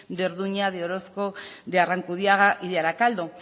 de orduña de orozco de arrankudiaga y de arakaldo